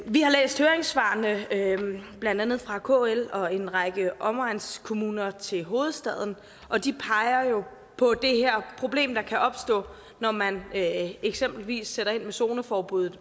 vi har læst høringssvarene blandt andet fra kl og en række omegnskommuner til hovedstaden og de peger jo på det her problem der kan opstå når man eksempelvis sætter ind med zoneforbuddet